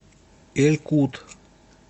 эль кут